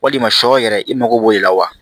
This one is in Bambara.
Walima sɔ yɛrɛ i mago b'o de la wa